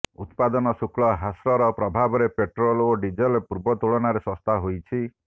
ଉତ୍ପାଦନ ଶୁକ୍ଲ ହ୍ରାସର ପ୍ରଭାବରେ ପେଟ୍ରୋଲ ଓ ଡିଜେଲ ପୂର୍ବ ତୁଳନାରେ ଶସ୍ତା ହୋଇଛି